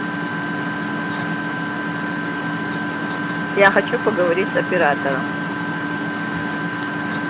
я хочу поговорить с оператором